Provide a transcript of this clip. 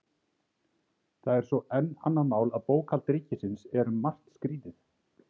Það er svo enn annað mál að bókhald ríkisins er um margt skrýtið.